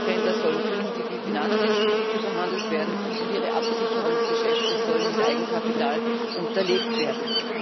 Rohstoffhändler sollen künftig wie Finanzinstitute behandelt werden, und ihre Absicherungsgeschäfte sollen mit Eigenkapital unterlegt werden.